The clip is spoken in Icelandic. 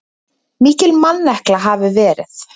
Mikil mannekla hafi verið.